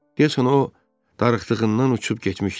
Deyəsən o, darıxdığından uçub getmişdi.